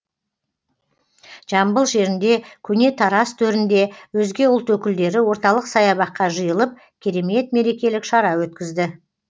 жамбыл жерінде көне тараз төрінде өзге ұлт өкілдері орталық саябаққа жиылып керемет мерекелік шара өткізді